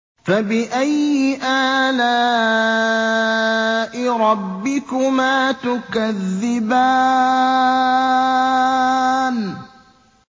فَبِأَيِّ آلَاءِ رَبِّكُمَا تُكَذِّبَانِ